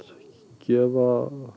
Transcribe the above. gefa